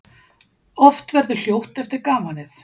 Oft verður hljótt eftir gamanið.